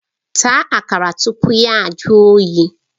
Taa Akara tupu ya jụọ oyi!